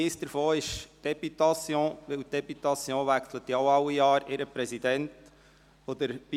Einer davon betrifft die Députation, da auch diese alljährlich ihren Präsidenten wechselt.